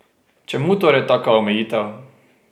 Čemu torej taka omejitev?